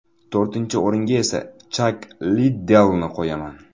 To‘rtinchi o‘ringa esa Chak Liddellni qo‘yaman.